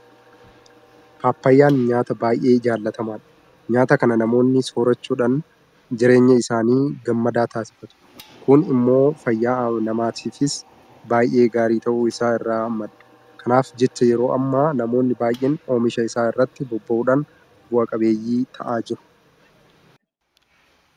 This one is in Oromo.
Paappaayyaan nyaata baay'ee jaalatamaadha. Nyaata kana namoonni soorrachuudhaan jireenya isaanii gammadaa taasifatu. Kun immoo fayyaa namaatiifis baay'ee gaarii ta'uu isaa irraa madda. Kanaaf jecha yeroo ammaa namoonni baay'een oomisha isaa irratti bobba'uudhaan bu'a qabeeyyii ta'aa jiru.